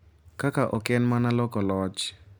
Kaka ok en mana loko loch .